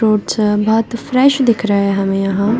Fruits है बहुत fresh दिख रहे है हमें यहाँ।